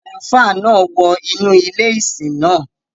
Àlùfáà náà wọ inú ilé ìsìn náà.